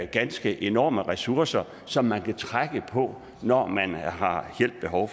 ganske enorme ressourcer som man kan trække på når man har hjælp behov